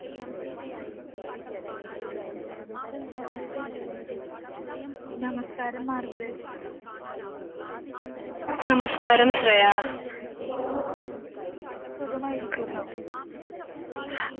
നമസ്കാരം മാർഗരറ്റ് സുഖമായിരിക്കുന്നോ?